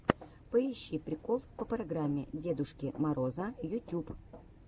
поищи прикол по программе дедушки мороза ютюб